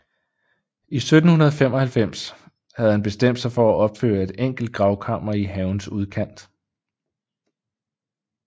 I 1795 havde han bestemt sig for at opføre et enkelt gravkammer i havens udkant